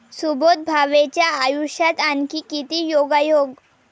सुबोध भावेच्या आयुष्यात आणखी किती योगायोग?